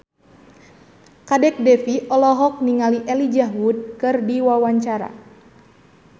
Kadek Devi olohok ningali Elijah Wood keur diwawancara